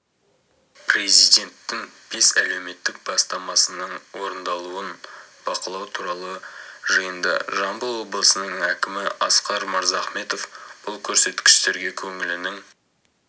президенттің бес әлеуметтік бастамасының орындалуын бақылау туралы жиында жамбыл облысының әкімі асқар мырзахметов бұл көрсеткіштерге көңілінің